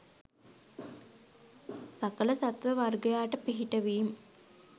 සකල සත්ව වර්ගයාට පිහිටවීම්